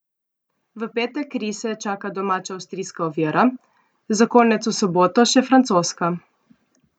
V petek rise čaka domača avstrijska ovira, za konec v soboto še francoska.